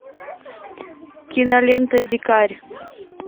кинолента дикарь